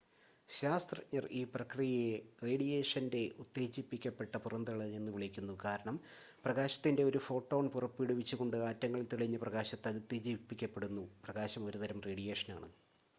"ശാസ്ത്രജ്ഞർ ഈ പ്രക്രിയയെ "റേഡിയേഷന്റെ ഉത്തേജിപ്പിക്കപ്പെട്ട പുറന്തള്ളൽ" എന്നുവിളിക്കുന്നു കാരണം പ്രകാശത്തിന്റെ ഒരു ഫോട്ടോൺ പുറപ്പെടുവിച്ചുകൊണ്ട് ആറ്റങ്ങൾ തെളിഞ്ഞ പ്രകാശത്താൽ ഉത്തേജിപ്പിക്കപ്പെടുന്നു പ്രകാശം ഒരു തരം റേഡിയേഷനാണ്.